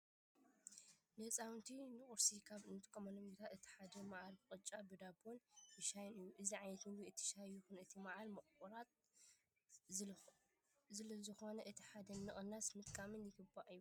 ንህፃውንቲ ንቁርሲ ካብ እንጥቀመሎም ምግብታት እቲ ሓደ መዓር በቅጫ (ብዳቦ)ን ብሻህን እዩ። እዚ ዓይነት ምግብታት እቲ ሻሂ ይኹን እቲ መዓር ምቁራት ዝለዝኮነ እቲ ሓደ ብምቅናስ ምጥቃም ይግባእ ይብል።